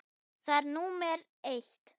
Það er númer eitt.